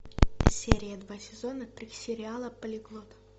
серия два сезона три сериала полиглот